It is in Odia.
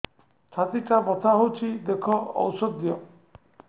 ଛାତି ଟା ବଥା ହଉଚି ଦେଖ ଔଷଧ ଦିଅ